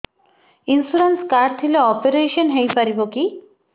insurance card ଥିଲେ operation ହେଇପାରିବ କି